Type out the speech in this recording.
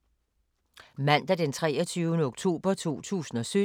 Mandag d. 23. oktober 2017